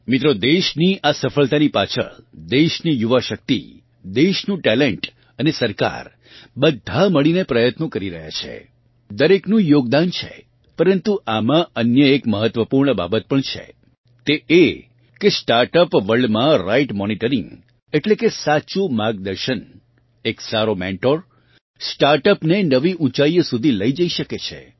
મિત્રો દેશની આ સફળતાની પાછળ દેશની યુવા શક્તિ દેશનું ટેલેન્ટ અને સરકાર બધાં મળીને પ્રયત્નો કરી રહ્યાં છે દરેકનું યોગદાન છે પરન્તુ આમાં અન્ય એક મહત્વપૂર્ણ બાબત પણ છે અને તે એ કે સ્ટાર્ટઅપ વર્લ્ડમાં રાઇટ મોનિટરિંગ એટલે કે સાચું માર્ગદર્શન એક સારો મેન્ટોર સ્ટાર્ટઅપને નવીં ઊંચાઇઓ સુધી લઇ જઇ શકે છે